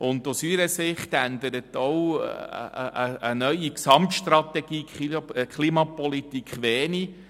Aus unserer Sicht ändert auch eine neue Gesamtstrategie zur Klimapolitik wenig.